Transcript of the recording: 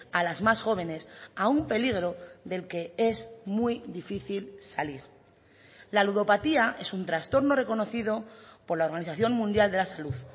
a las más jóvenes a un peligro del que es muy difícil salir la ludopatía es un trastorno reconocido por la organización mundial de la salud